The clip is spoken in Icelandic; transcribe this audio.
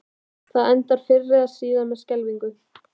Það endar fyrr eða síðar með skelfingu.